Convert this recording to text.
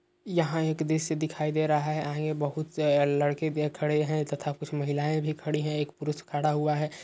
यहाँ एक दृश्य दिखाई दे रहा है। यहाँ बोहोत लड़के खड़े हैं तथा कुछ महिलायें भी खड़ी हैं एक पुरुष खड़ा हुआ है।